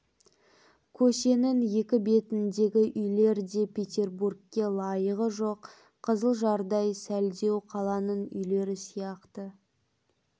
көшенің екі бетіндегі үйлер де петербургке лайығы жоқ қызылжардай сәлдеу қаланын үйлері сияқты